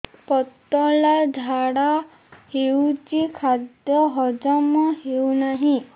ପତଳା ଝାଡା ହେଉଛି ଖାଦ୍ୟ ହଜମ ହେଉନାହିଁ